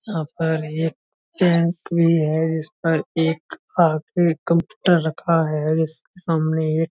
यहाँ पर एक कैफ़े है जिस पर एक कंप्यूटर रखा है जिसके सामने एक --